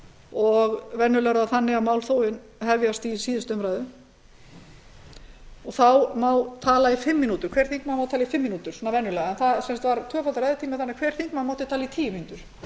og venjulega er það þannig að málþóf hefjast í síðustu umræðu þá má hver þingmaður tala í fimm mínútur venjulega en það var sem sagt tvöfaldur ræðutími þannig að hver þingmaður mátti tala í tíu